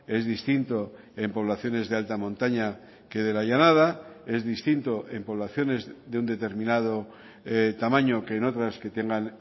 es distinto en poblaciones de alta montaña que de la llanada es distinto en poblaciones de un determinado tamaño que en otras que tengan